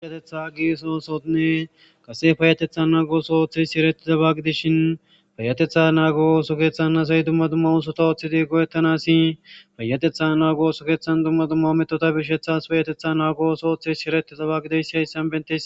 Aweatetha gisoosonne qase fayatetha naagos oooththes siireti xabagidishin fayatetha naago osokeththan nasay dumma dumma usota ooththidi godettanassi fayatetha naago sokeththan dumma dumma metota bishethas payatetha naagooso ooththes shireti xabagideyssi hayssan bentis.